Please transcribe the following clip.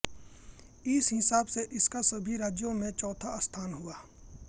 इस हिसाब से इसका सभी राज्यों में चौथा स्थान हुआ